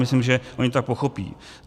Myslím, že oni to tak pochopí.